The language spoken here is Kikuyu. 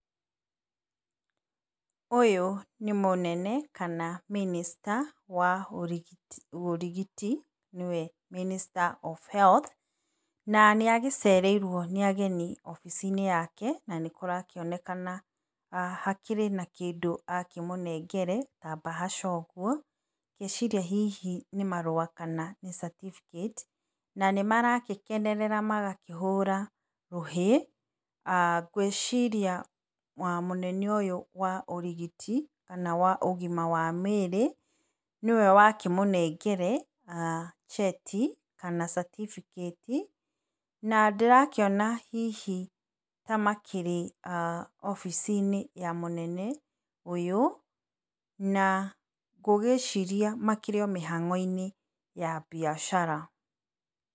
Ũyũ, nĩ mũnene kana minista wa ũrigiti nĩ we minister of health na, nĩ agĩcereirwo nĩ ageni obiciinĩ yake, na nĩkũrakĩonekana hakĩrĩ na kĩndũ, amũnengĩre ta mbahasha ũguo. Ngeciria hihi nĩ marũa kana hihi nĩ certificate, nĩmaragĩkĩnerera magakĩhũra rũhĩ. Ngwĩciria, mũnene ũyũ wa ũrigiti, kana waũgima wa mwĩrĩ nĩwe wakĩmũnengere ah cheti kana certificate na ndĩrakĩona hihi ta makĩrĩ obiciinĩ ya mũnene ũyũ, na ngũgĩciria makĩrĩ mĩhang'oinĩ ya mbiacara.